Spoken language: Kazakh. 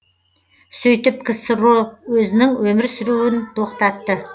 сөйтіп ксро өзінің өмір сүруін тоқтатты